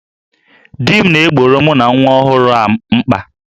Di m na-egboro mụ na nwa ọhụrụ a mkpa